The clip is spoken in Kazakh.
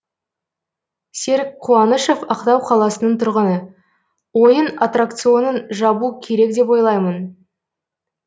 серік қуанышов ақтау қаласының тұрғыны ойын аттракционын жабу керек деп ойлаймын